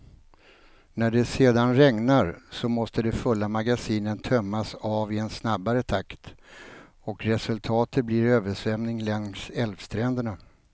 När det sedan regnar, så måste de fulla magasinen tömmas av i en snabbare takt och resultatet blir översvämning längs älvstränderna.